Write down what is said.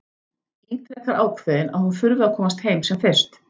Ítrekar ákveðin að hún þurfi að komast heim sem fyrst.